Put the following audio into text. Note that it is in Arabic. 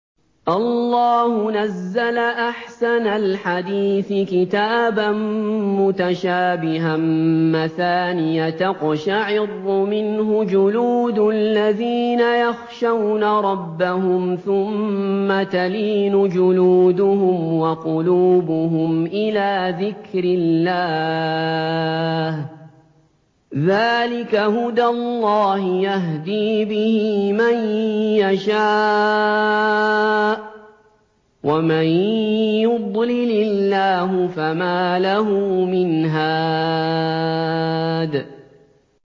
اللَّهُ نَزَّلَ أَحْسَنَ الْحَدِيثِ كِتَابًا مُّتَشَابِهًا مَّثَانِيَ تَقْشَعِرُّ مِنْهُ جُلُودُ الَّذِينَ يَخْشَوْنَ رَبَّهُمْ ثُمَّ تَلِينُ جُلُودُهُمْ وَقُلُوبُهُمْ إِلَىٰ ذِكْرِ اللَّهِ ۚ ذَٰلِكَ هُدَى اللَّهِ يَهْدِي بِهِ مَن يَشَاءُ ۚ وَمَن يُضْلِلِ اللَّهُ فَمَا لَهُ مِنْ هَادٍ